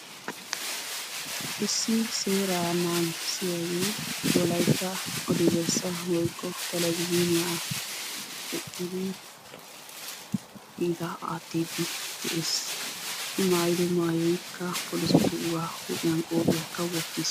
Issi seera naagissiyaage wolaytta odi bessaa woykko televizhiniya eqqidi kiita aattidi dees. I maayyido maayyoykka polisetuuga huuphiyaan qophiyaakka wottiis.